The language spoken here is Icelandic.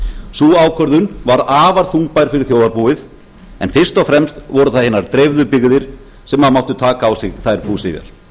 sú ákvörðun var afar þungbær fyrir þjóðarbúið en fyrst og fremst voru það hinar dreifðu byggðir sem máttu taka á sig þær búsifjar